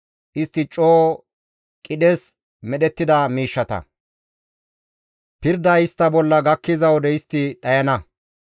Istti coo qidhes medhettida miishsha. Pirday istta bolla gakkiza wode istti dhayana.